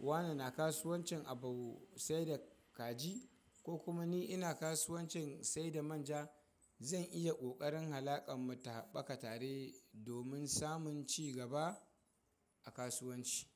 wane na kasuwancin abu sai da kaji ko kuma ni ina kasuwancin sai da manja, zan iya ƙoƙarin halaƙan mu ta haɓaka tare domin samun ci gaba a kasuwanci.